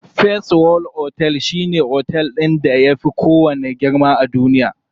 First world otel shine otel ɗin da yafi kowanne girma a duniya.